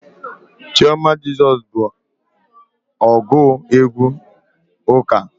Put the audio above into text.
Chioma Jesus bụ ọgụ egwu ụka Igbo.